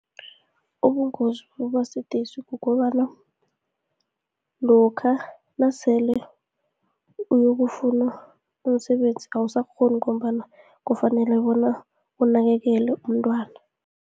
Ubungozi bokuba sidisi kukobana, lokha nasele uyokufuna umsebenzi awusakghoni, ngombana kufanele bona unakekele umntwana.